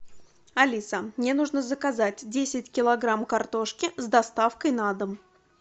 алиса мне нужно заказать десять килограмм картошки с доставкой на дом